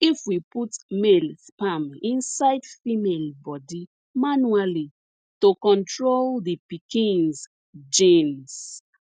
if we put male sperm inside female body manually to control the pikins genes